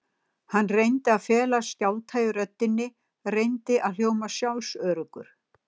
Hann reyndi að fela skjálfta í röddinni, reyndi að hljóma sjálfsöruggur.